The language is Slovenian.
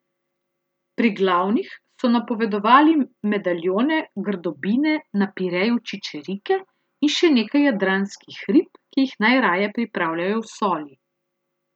Pri glavnih so napovedovali medaljone grdobine na pireju čičerike in še nekaj jadranskih rib, ki jih najraje pripravljajo v soli.